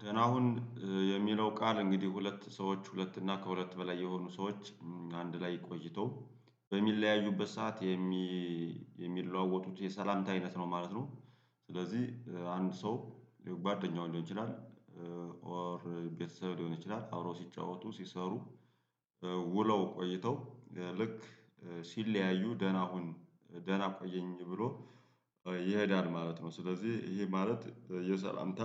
ደህና ሁን የሚለው ቃል እንግዲህ ሁለት ሰዎች ሁለት እና ከሁለት በላይ የሆኑ ሰዎች አንድ ላይ ቆይተው በሚለያዩበት ሰዓት የሚለዋወጡት የሰላምታ አይነት ነው ማለት ነው። ስለዚህ አንድ ሰው ባድ እኛው እንደሆን ይችላል። ኦር ቤተሰብ ሊሆን ይችላል አብሮ ሲጫወቱ ሲሰሩ ውለው ቆይተው ልክ ሲለያዩ ደህና ሁን ደህና ቆየኝ ብሎ ይሄዳል ማለት ነው። ስለዚህ ይሄ ማለት የሰላምታ